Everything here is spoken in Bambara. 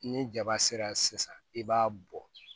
Ni jaba sera sisan i b'a bɔn